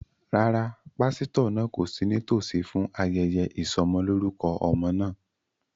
Rárá, pásítọ̀ náà kò sí nítòsí fún ayẹyẹ ìsọmọlorúkọ ọmọ náà